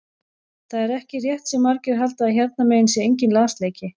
Það er ekki rétt sem margir halda að hérna megin sé enginn lasleiki.